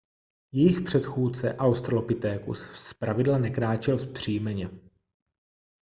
jejich předchůdce australopithecus zpravidla nekráčel vzpřímeně